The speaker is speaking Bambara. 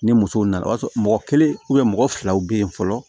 Ni musow nana o y'a sɔrɔ mɔgɔ kelen mɔgɔ filaw be yen fɔlɔ